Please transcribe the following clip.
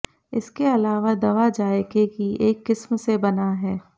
इसके अलावा दवा जायके की एक किस्म से बना है